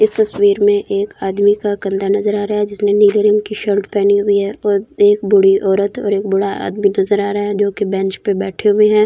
इस तस्वीर में एक आदमी का कंधा नज़र आ रहा है जिसने नीले रंग की शर्ट पहनी हुई है और एक बूढ़ी औरत और एक बूढ़ा आदमी नज़र आ रहे है जो की बेंच में बैठे हुए है --